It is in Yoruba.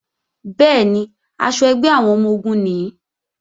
Bẹ́ẹ̀ni, aṣọ ẹgbẹ́ àwọn ọmọ-ogun nìí